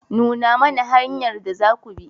Nuna mana hanyar da zaku bi.